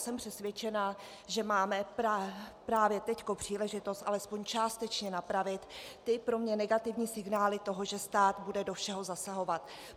Jsem přesvědčena, že máme právě teď příležitost alespoň částečně napravit ty pro mě negativní signály toho, že stát bude do všeho zasahovat.